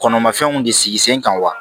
Kɔnɔmafɛnw de sigi sen kan wa